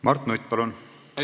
Mart Nutt, palun!